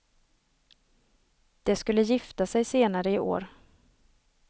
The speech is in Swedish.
De skulle gifta sig senare i år.